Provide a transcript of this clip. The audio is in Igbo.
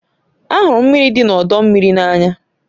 Ahụrụ m mmiri dị n'ọdọ mmiri n'anya